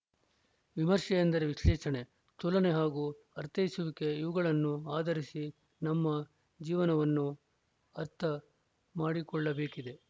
ವಿಮರ್ಶೆ ಎಂದರೆ ವಿಶ್ಲೇಷಣೆ ತುಲನೆ ಹಾಗೂ ಅರ್ಥೈಸುವಿಕೆ ಇವುಗಳನ್ನು ಆಧರಿಸಿ ನಮ್ಮ ಜೀವನವನ್ನು ಅರ್ಥ ಮಾಡಿಕೊಳ್ಳಬೇಕಿದೆ